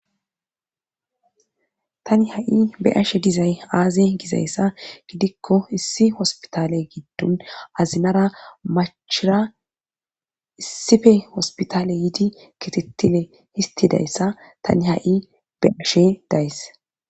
tani ha7i be ashe dizay aaze gizayssa gidikko issi hospitale giddun azinara machira issife hospitale yiidi kitettile histidayssa tani ha7i be ashe days